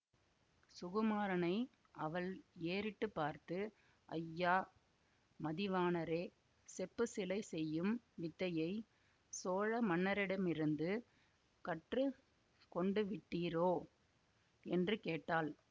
சுகுமாரனை அவள் ஏறிட்டு பார்த்து ஐயா மதிவாணரே செப்புச் சிலை செய்யும் வித்தையைச் சோழ மன்னரிடமிருந்து கற்று கொண்டுவிட்டீரோ என்று கேட்டாள்